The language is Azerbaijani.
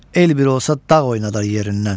El bir olsa dağ oynadar yerindən.